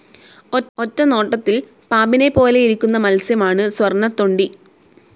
ഒറ്റനോട്ടത്തിൽ പാമ്പിനെ പോലെയിരിക്കുന്ന മത്സ്യം ആണ് സ്വർണ്ണത്തൊണ്ടി.